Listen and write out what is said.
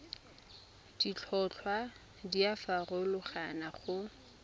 ditlhotlhwa di a farologana go